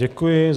Děkuji.